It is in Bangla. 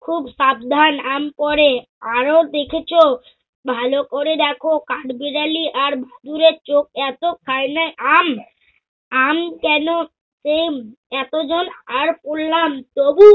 খূব সাবধান আমি পড়ে। আরো দেখেছ, ভালোকরে দেখ কাঠবিড়ালী আর বাদুড়ের চোখ এত খায়নি আম। আম কেন সেম এতজন আর পড়লাম তবু